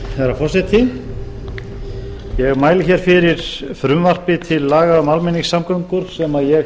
forseti ég mæli fyrir frumvarpi til laga um almenningssamgöngur sem ég